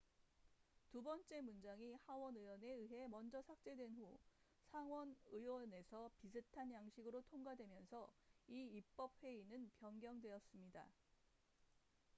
두 번째 문장이 하원 의원에 의해 먼저 삭제된 후 상원 의원에서 비슷한 양식으로 통과되면서 이 입법 회의는 변경되었습니다